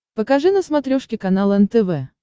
покажи на смотрешке канал нтв